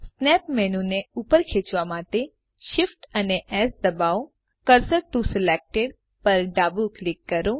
snap menu ને ઉપર ખેચવા માટે Shift અને એસ દબાવોcursor ટીઓ સિલેક્ટેડ પર ડાબું ક્લિક કરો